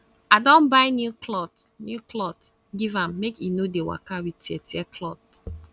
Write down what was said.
i don buy new clot new clot give am make e no dey waka wit teartear clot